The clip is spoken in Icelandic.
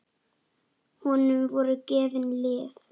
Honum voru gefin lyf.